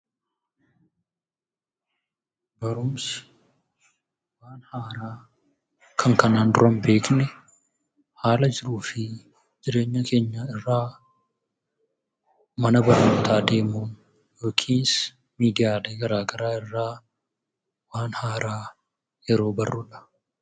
Barumsi waan haaraa kan kanaan dura hin beekne, haala jiruu fi jireenya keenyaa irraa, mana barnootaa deemuun, miidiyaalee gara garaa irraa waan haaraa yeroo barruudha.